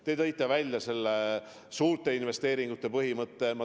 Te tõite välja suurte investeeringute põhimõtte.